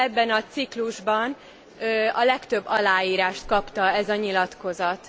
Ebben a ciklusban a legtöbb aláírást kapta ez a nyilatkozat.